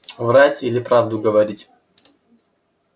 врать или правду говорить